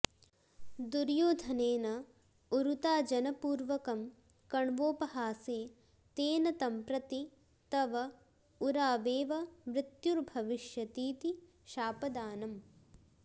दुर्योधनेन ऊरुताजनपूर्वकं कण्वोपहासे तेन तं प्रति तव ऊरावेव मृत्युर्भविष्यतीति शापदानम्